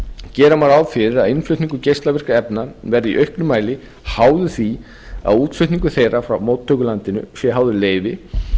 gera má ráð fyrir að innflutningur geislavirkra efna verði í auknum mæli háður því að útflutningur þeirra frá móttökulandinu sé háður leyfi